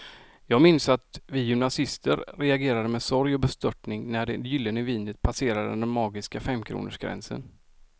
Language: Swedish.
Jag minns att vi gymnasister reagerade med sorg och bestörtning när det gyllene vinet passerade den magiska femkronorsgränsen.